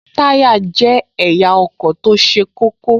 Táyá jẹ́ ẹ̀yà ọkọ̀ tó ṣe kókó